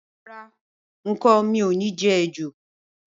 Rárá, n kò ni je ejò